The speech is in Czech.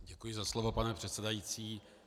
Děkuji za slovo, pane předsedající.